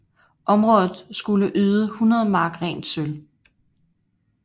Området skulle yde 100 mark rent sølv